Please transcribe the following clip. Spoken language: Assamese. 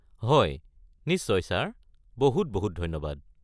হয়, নিশ্চয় ছাৰ, বহুত বহুত ধন্যবাদ।